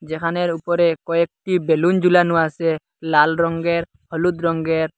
যেখানের উপরে কয়েকটি বেলুন জুলানো আসে লাল রঙ্গের হলুদ রঙ্গের।